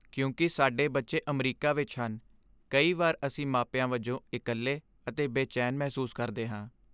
ਕਿਉਂਕਿ ਸਾਡੇ ਬੱਚੇ ਅਮਰੀਕਾ ਵਿੱਚ ਹਨ, ਕਈ ਵਾਰ ਅਸੀਂ ਮਾਪਿਆਂ ਵਜੋਂ ਇਕੱਲੇ ਅਤੇ ਬੇਚੈਨ ਮਹਿਸੂਸ ਕਰਦੇ ਹਾਂ।